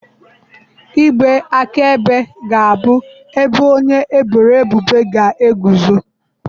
Igbe akaebe ga-abụ ebe onye eboro ebubo ga-eguzo.